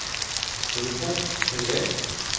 telefon privat